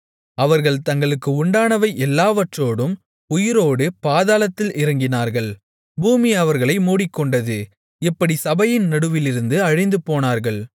அவர்கள் தங்களுக்கு உண்டானவை எல்லாவற்றோடும் உயிரோடு பாதாளத்தில் இறங்கினார்கள் பூமி அவர்களை மூடிக்கொண்டது இப்படிச் சபையின் நடுவிலிருந்து அழிந்துபோனார்கள்